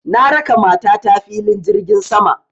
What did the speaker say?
Na raka mata ta filin jirgin sama